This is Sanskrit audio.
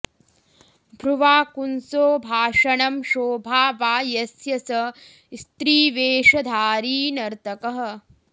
भ्रुवा कुंसो भाषणं शोभा वा यस्य स स्त्रीवेषधारी नर्तकः